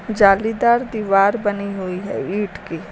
जालीदार दीवार बनी हुई है ईट की।